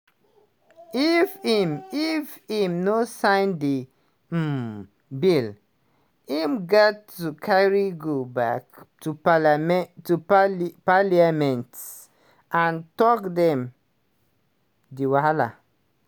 if im if im no sign di um bill im gat to carry go back to parlia parliament and tok dem di wahala